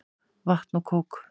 Vatn og kók.